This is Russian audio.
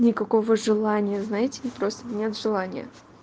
никакого желания знаете вы просто нет желания